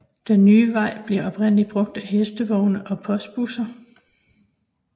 Den nye vej blev oprindeligt brugt af hestevogne og postbusser